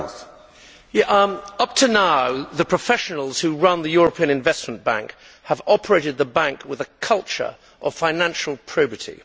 Mr President, up to now the professionals who run the European Investment Bank have operated the Bank with a culture of financial probity.